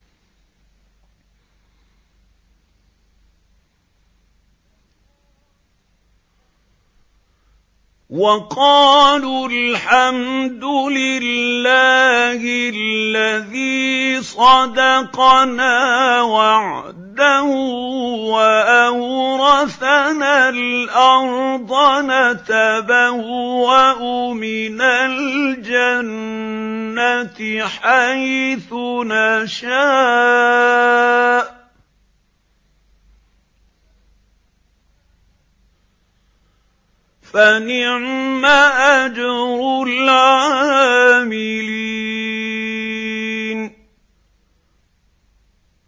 وَقَالُوا الْحَمْدُ لِلَّهِ الَّذِي صَدَقَنَا وَعْدَهُ وَأَوْرَثَنَا الْأَرْضَ نَتَبَوَّأُ مِنَ الْجَنَّةِ حَيْثُ نَشَاءُ ۖ فَنِعْمَ أَجْرُ الْعَامِلِينَ